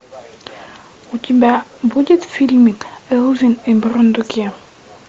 у тебя будет фильмик элвин и бурундуки